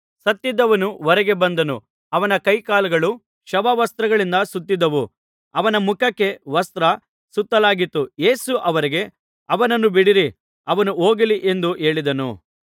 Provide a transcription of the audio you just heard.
ಸತ್ತಿದ್ದವನು ಹೊರಗೆ ಬಂದನು ಅವನ ಕೈಕಾಲುಗಳು ಶವ ವಸ್ತ್ರಗಳಿಂದ ಸುತ್ತಿದ್ದವು ಅವನ ಮುಖಕ್ಕೆ ವಸ್ತ್ರ ಸುತ್ತಲಾಗಿತ್ತು ಯೇಸು ಅವರಿಗೆ ಅವನನ್ನು ಬಿಡಿಸಿರಿ ಅವನು ಹೋಗಲಿ ಎಂದು ಹೇಳಿದನು